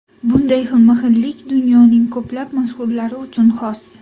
Bunday xilma-xillik dunyoning ko‘plab mashhurlari uchun xos.